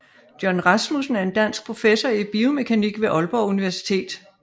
John Rasmussen er en dansk professor i biomekanik ved Aalborg Universitet